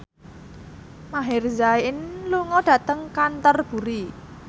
Maher Zein lunga dhateng Canterbury